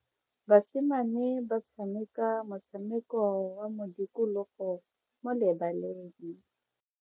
Basimane ba tshameka motshameko wa modikologo mo lebaleng.